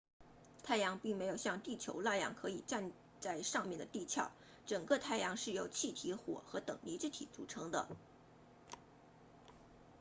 太阳并没有像地球那样可以站在上面的地壳整个太阳是由气体火和等离子体组成的